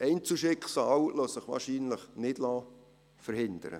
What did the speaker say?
Einzelschicksale lassen sich wahrscheinlich nicht verhindern.